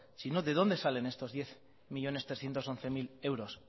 si no de dónde salen estos diez millónes trescientos once mil euros